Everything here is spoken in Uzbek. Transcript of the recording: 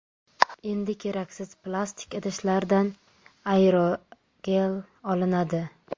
Endi keraksiz plastik idishlardan aerogel olinadi.